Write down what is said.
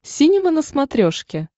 синема на смотрешке